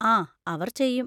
ആ, അവർ ചെയ്യും.